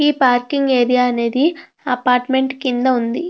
ఈ parking area అనేది apartment కింద వుంది.